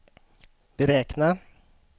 beräkna